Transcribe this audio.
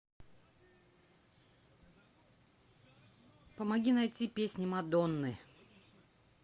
помоги найти песни мадонны